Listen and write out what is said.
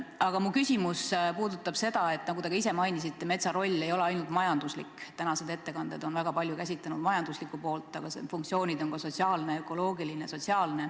Aga minu küsimus puudutab seda, nagu te ka ise mainisite, et metsa roll ei ole ainult majanduslik – tänased ettekanded on väga palju käsitlenud just majanduslikku poolt –, vaid metsa funktsioonid on ka sotsiaalsed, ökoloogilised.